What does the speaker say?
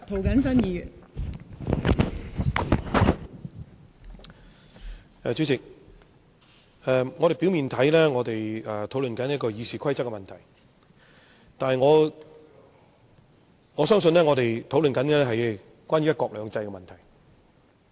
代理主席，表面上我們正在討論《議事規則》的問題，但我相信，實際上我們正在討論"一國兩制"的問題。